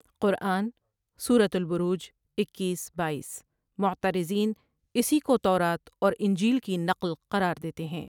قرآن سورۃ البروج اکیس بایس معترضین اسی کو تورات اور انجیل کی نقل قرار دیتے ہیں